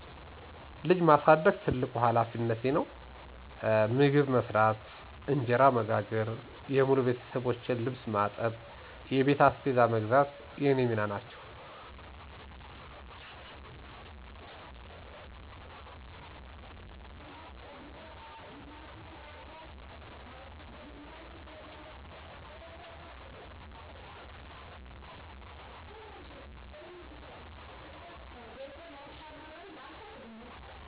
ልጅ ማሳደግ ትልቁ ሀላፊነቴ ነው። መግብ መስራት፣ እንጀራ መጋገር፣ የሙሉ ቤተሠቦቼን ልብስ ማጠብ፣ የቤት አስቤዛ መግዛት የኔ ሚና ናቸው።